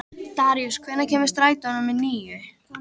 Daríus, hvenær kemur strætó númer níu?